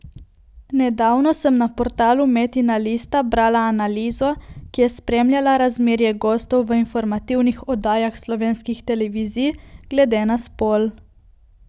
Nedavno sem na portalu Metina lista brala analizo, ki je spremljala razmerje gostov v informativnih oddajah slovenskih televizij glede na spol.